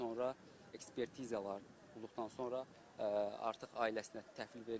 Ekspertizalar olduqdan sonra artıq ailəsinə təhvil veriləcək.